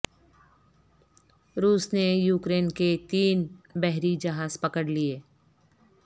روس نے یوکرین کے تین بحری جہاز پکڑ لئے